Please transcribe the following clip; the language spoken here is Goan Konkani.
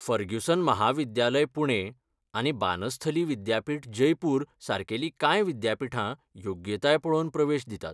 फर्ग्युसन म्हाविद्यालय, पुणे आनी बानस्थली विद्यापीठ, जयपूर सारकेली कांय विद्यापीठां योग्यताय पळोवन प्रवेश दितात.